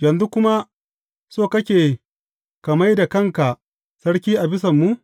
Yanzu kuma so kake ka mai da kanka sarki a bisanmu?